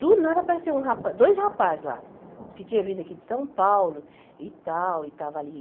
Do nada apareceu um rapa dois rapazes lá, diz que tinham vindo aqui de São Paulo e tal, e estavam ali.